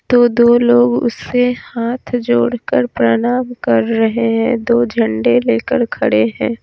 तो दो लोग उससे हाथ जोड़कर प्रणाम कर रहे हैं दो झंडे लेकर खड़े हैं।